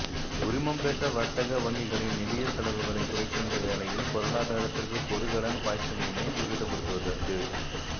உரிமம்பெற்ற வர்த்தக வங்கிகளின் நிதியச் செலவுகளைக் குறைக்கின்ற வேளையில் பொருளாதாரத்திற்கு கொடுகடன் பாய்ச்சலினை துரிதப்படுத்துவதற்கு